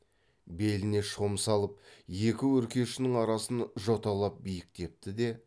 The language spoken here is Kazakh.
беліне шом салып екі өркешінің арасын жоталап биіктепті де